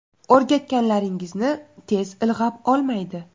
O‘rgatganlaringizni tez ilg‘ab olmaydi.